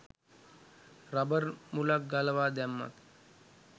rubber මුලක් ගලවා දැම්මත්